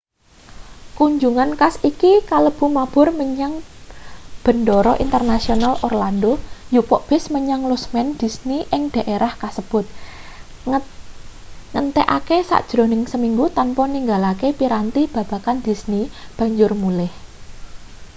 kunjungan khas iki kalebu mabur menyang bendara internasional orlando njupuk bis menyang lusmen disney ing dhaerah kasebut ngentekake sajrone seminggu tanpa ninggalake piranti babagan disney banjur mulih